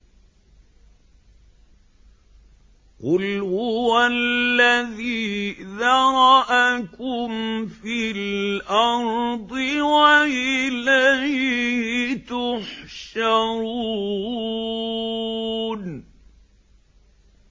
قُلْ هُوَ الَّذِي ذَرَأَكُمْ فِي الْأَرْضِ وَإِلَيْهِ تُحْشَرُونَ